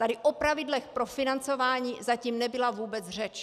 Tady o pravidlech pro financování zatím nebyla vůbec řeč.